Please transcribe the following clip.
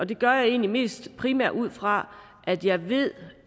det gør jeg egentlig mest ud fra at jeg ved